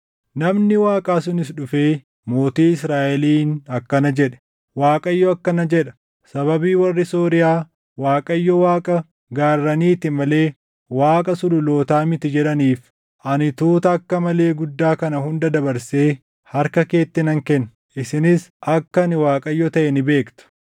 Namni Waaqaa sunis dhufee mootii Israaʼeliin akkana jedhe; “ Waaqayyo akkana jedha; ‘Sababii warri Sooriyaa Waaqayyo Waaqa gaarraniiti malee Waaqa sululootaa miti jedhaniif, ani tuuta akka malee guddaa kana hunda dabarsee harka keetti nan kenna; isinis akka ani Waaqayyo taʼe ni beektu.’ ”